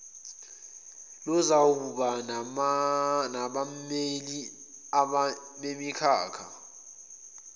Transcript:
luzawuba nabameli bemikhakha